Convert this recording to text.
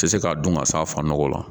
Tɛ se ka dun ka s'a fa nɔgɔ la